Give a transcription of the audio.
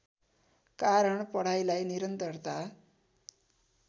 कारण पढाइलाई निरन्तरता